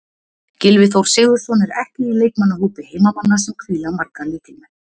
Gylfi Þór Sigurðsson er ekki í leikmannahópi heimamanna sem hvíla marga lykilmenn.